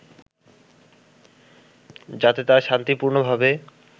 যাতে তারা শান্তিপূর্ণভাবে